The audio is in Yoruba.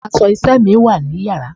Aṣọ iṣẹ́ mi wá ní Yàrá.